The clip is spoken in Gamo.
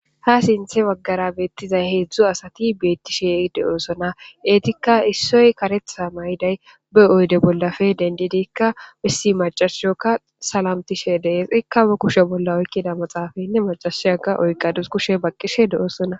Ha sinthe bagara bettishede'iza 3 asati bettishe ha'i de'osona etika issoy karetha mayiday be oyde bollappe dendikka issi mac'ashiyoka salamtishe de'es ika ba kushe bolla oykida maxafe mac'ashiyaka oykadus kushiya baosona.